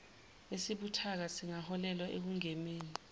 esibuthaka singaholela ekungenweni